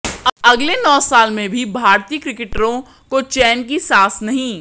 अगले नौ साल में भी भारतीय क्रिकेटरों को चैन की सांस नहीं